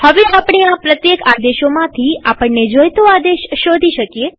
હવે આપણે આ પ્રત્યેક આદેશોમાંથી આપણને જોઈતો આદેશ શોધી શકીએ